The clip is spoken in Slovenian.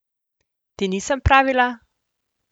Ti nisem pravila?